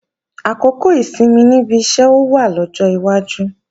Àkókò ìsinmi níbi iṣẹ́ ó wá lọ́jọ́ iwájú